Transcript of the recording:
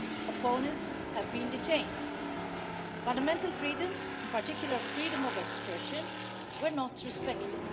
Opponents have been detained, and fundamental freedoms, in particular freedom of expression, were not respected.